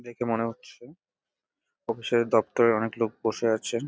দেখে মনে হচ্ছে অফিসের দপ্তরের অনেক লোক বসে আছেন ।